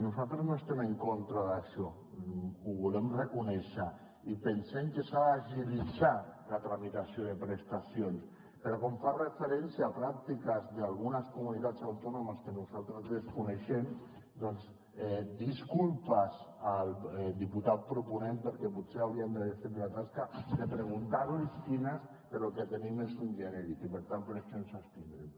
nosaltres no estem en contra d’això ho volem reconèixer i pensem que s’ha d’agilitzar la tramitació de prestacions però com fa referència a pràctiques d’algunes comunitats autònomes que nosaltres desconeixem doncs disculpes al diputat proponent perquè potser hauríem d’haver fet la tasca de preguntar li quines però el que tenim és un genèric i per tant per això ens abstindrem